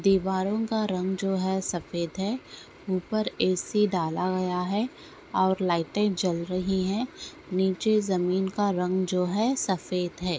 दीवारों का रंग जो है सफ़ेद है उपर ए.सी. डाला गया है और लाइटे जल रही है नीचे जमीन का रंग जो है सफ़ेद है।